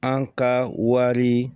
An ka wari